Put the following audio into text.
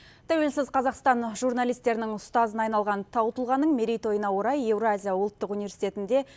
тәуелсіз қазақстан журналистерінің ұстазына айналған тау тұлғаның мерейтойына орай евразия ұлттық университетінде